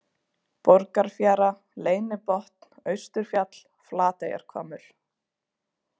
Borgarfjara, Leynibotn, Austurfjall, Flateyjarhvammur